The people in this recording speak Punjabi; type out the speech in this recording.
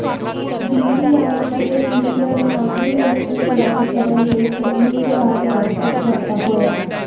ਡੀਪੀਆਰਕੇ ਵਿਚ ਪਰਮਾਣੂ ਰਿਐਕਟਰ ਤਿਆਰ ਕਰਨ ਲਈ ਸੰਯੁਕਤ ਰਾਜ ਨਾਲ ਸਮਝੌਤਾ ਹੋਇਆ